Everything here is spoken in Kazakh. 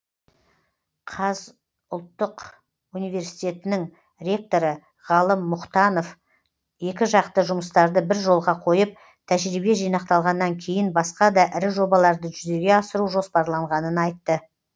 қаз ұлттық университетінің ректоры ғалым мұтанов екі жақты жұмыстарды бір жолға қойып тәжірибе жинақталғаннан кейін басқа да ірі жобаларды жүзеге асыру жоспарланғанын айтты